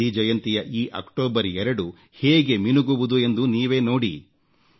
ಗಾಂಧಿ ಜಯಂತಿಯ ಈ ಅಕ್ಟೋಬರ್ 2 ಹೇಗೆ ಮಿನುಗುವುದು ಎಂದು ನೀವೇ ನೋಡಿ